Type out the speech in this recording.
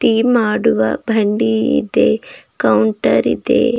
E ಮಾಡುವ ಬಂಡಿ ಇದೆ ಕೌಂಟರ್ ಇದೆ.